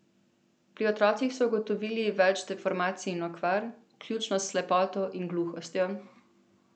Pri otrocih so ugotovili več deformacij in okvar, vključno s slepoto in gluhostjo.